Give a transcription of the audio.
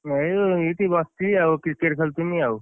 ଏଇ ଏଇଠି ବସିଛି ଆଉ cricket ଖେଳୁଥିନି ଆଉ,